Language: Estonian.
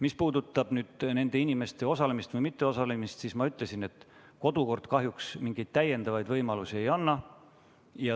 Mis puudutab nende inimeste osalemist või mitteosalemist, siis ma ütlesin, et kodukord kahjuks mingeid täiendavaid võimalusi ei anna.